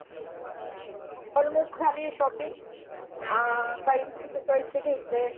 almost झाली आहे shopping अं काही चॉईसच घ्यायचय